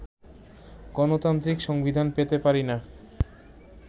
গণতান্ত্রিক সংবিধান পেতে পারি না